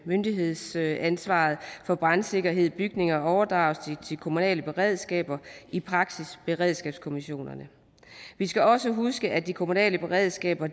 myndighedsansvaret for brandsikkerheden i bygninger overdrages til de kommunale beredskaber i praksis beredskabskommissionerne vi skal også huske at de kommunale beredskaber